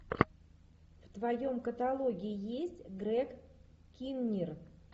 в твоем каталоге есть грег киннир